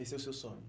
Esse é o seu sonho?